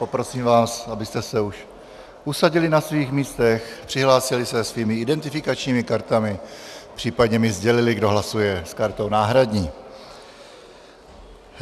Poprosím vás, abyste se už usadili na svých místech, přihlásili se svými identifikačními kartami, případně mi sdělili, kdo hlasuje s kartou náhradní.